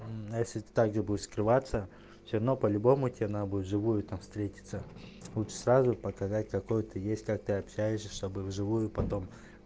ну если ты также будет скрываться все равно по-любому тебе надо будет в живую там встретиться лучше сразу показать какой ты есть как ты общаешься чтобы в живую потом